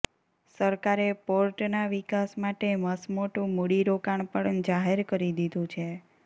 સરકારે પોર્ટના વિકાસ માટે મસમોટુ મુડી રોકાણ પણ જાહેર કરી દીધું છે